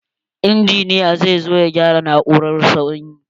Injiniya za zo ya gyara na'urar sanyi.